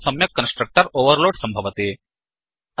अतः सम्यक् constructor overload सम्भवति